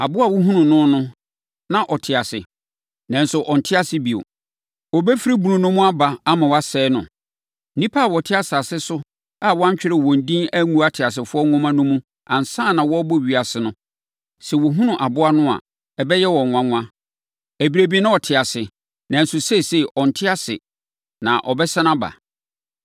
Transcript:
Aboa a wohunuu no no na ɔte ase, nanso ɔnte ase bio. Ɔrebɛfiri bunu no mu aba ama wɔasɛe no. Nnipa a wɔte asase so a wɔantwerɛ wɔn din angu ateasefoɔ nwoma no mu ansa na wɔrebɔ ewiase no, sɛ wɔhunu aboa no a, ɛbɛyɛ wɔn nwanwa. Ɛberɛ bi na ɔte ase, nanso seesei ɔnte ase na ɔbɛsane aba.